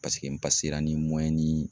Paseke n ni ni